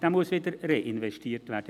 Dieser muss reinvestiert werden.